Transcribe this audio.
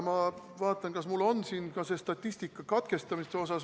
Ma vaatan, kas mul on siin ka see statistika katkestamiste kohta.